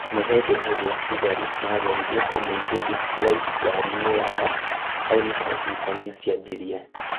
Nĩ hĩndĩ ĩrĩa thigari mageririe kũmũingĩria Flyod ngari yao hau nĩho ngucanio cianjirie